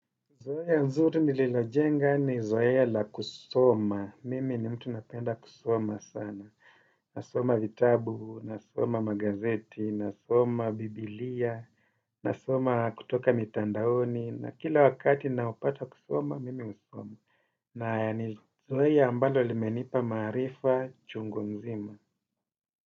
Zoea nzuri nililojenga ni zoea la kusoma. Mimi ni mtu napenda kusoma sana. Nasoma vitabu, nasoma magazeti, nasoma biblia, nasoma kutoka mitandaoni. Na kila wakati naupata kusoma, mimi husoma. Na ni zoea ambalo limenipa maarifa chungu nzima.